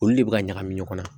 Olu de bɛ ka ɲagami ɲɔgɔn na